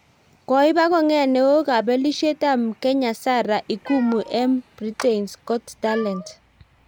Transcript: koiba kongeet neo kabilisiet ab Mkenya Sarah ikumu eng Britains got talent